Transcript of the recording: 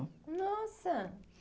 Nossa!